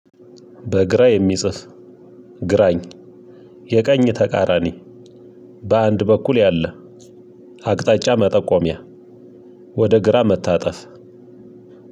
በግራ የሚጽፍ ግራኝ የቀኝ ተቃራኒ በአንድ በኩል ያለ አቅጣጫ መጠቆሚያ ወደ ግራ መታጠፍ